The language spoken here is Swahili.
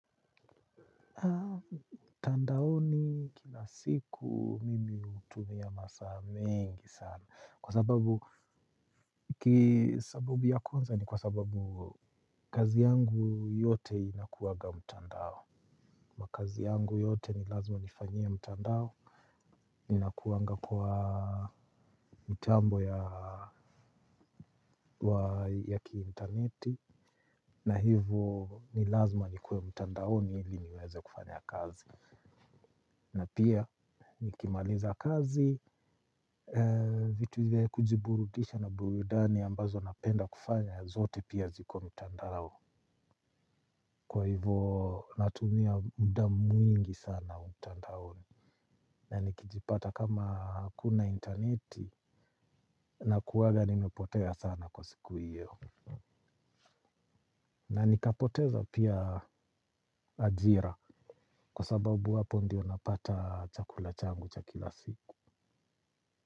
Mtandaoni kila siku mimi hutumia masaa mengi sana. Kwa sababu ki sabubu ya kwanza ni kwa sababu kazi yangu yote inakuwanga mtandao. Makazi yangu yote ni lazima nifanyia mtandao inakuwanga kwa mitambo ya ya ki interneti. Na hivo ni lazima nikuwe mtandaoni ili niweze kufanya kazi. Na pia nikimaliza kazi, vitu vya kujiburudisha na burudani ambazo napenda kufanya, zote pia ziko mtandao. Kwa hivyo natumia muda mwingi sana mtandaoni. Na nikijipata kama hakuna interneti nakuwanga nimepotea sana kwa siku hiyo. Na nikapoteza pia ajira kwa sababu hapo ndio napata chakula changu cha kila siku.